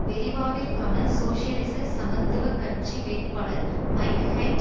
வெரிவாவிற்கான சோசியலிச சமத்துவ கட்சி வேட்பாளர் மைக் ஹைட்